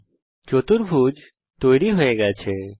এখানে একটি চতুর্ভুজ তৈরী হয়ে গেছে